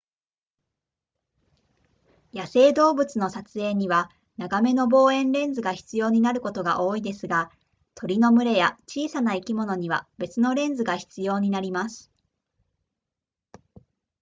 野生動物の撮影には長めの望遠レンズが必要になることが多いですが鳥の群れや小さな生き物には別のレンズが必要になります